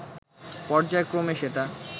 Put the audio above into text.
পর্যায়ক্রমে সেটা